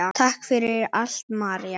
Takk fyrir allt, María.